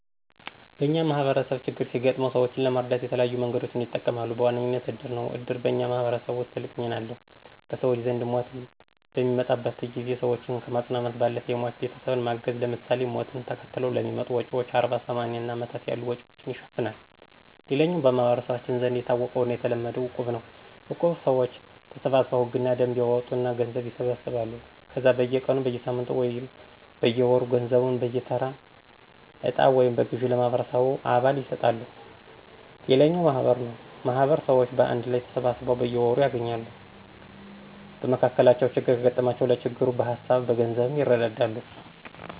በኛ ማህበረሰብ ችግር ሲገጥመው ሰወችን ለመርዳት የተለያዩ መንገዶችን ይጠቀማሉ። በዋነኝነት እድር ነው። እድር በኛ ማህበረሰብ ውስጥ ትልቅ ሚና አለው። በሰወች ዘንድ ሞት በሚመጣበት ጊዜ ሰወችን ከማፅናናት ባለፈ የሟች ቤተሰብን ማገዝ ለምሳሌ፦ ሞትን ተከትለው ለሚመጡ ወጭወች አርባ፣ ሰማኒያ እና አመታት ያሉ ወጭወችን ይሸፍናል። ሌላኛው በመህበረሰባችን ዘንድ የታወቀውና የተለመደው እቁብ ነው። እቁብ ሰወች ተሰባስበው ህግና ደንብ ያወጡና ገንዘብ ይሰበስባሉ ከዛ በየ ቀኑ፣ በየሳምንቱ ወይም በየወሩ ገንዘቡን በየተራ እጣ ወይም በግዠ ለማህበረሰቡ አባል ይሰጣሉ። ሌላኛው ማህበር ነው ማህበር ሰወች በአንድ ላይ ተሰባስበው በየወሩ ይገናኛሉ። በመካከላቸው ችግር ከገጠማቸው ለችግሩ በሀሳብም በገንዘብም ይረዳዳሉ።